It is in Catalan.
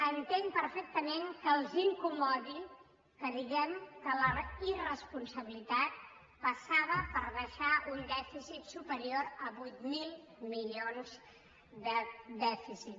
entenc perfectament que els incomodi que diguem que la irresponsabilitat passava per deixar un dèficit superior a vuit mil milions d’euros de dèficit